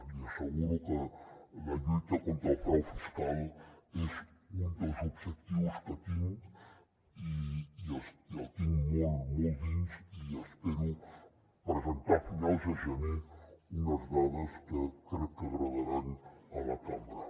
li asseguro que la lluita contra el frau fiscal és un dels objectius que tinc i el tinc molt molt a dins i espero presentar a finals de gener unes dades que crec que agradaran a la cambra